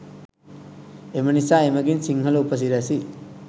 එම නිසා එමඟින් සිංහල උපසිරැසි